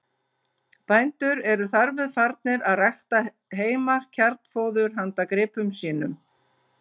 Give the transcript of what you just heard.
Bændur eru þar með farnir að rækta heima kjarnfóður handa gripum sínum.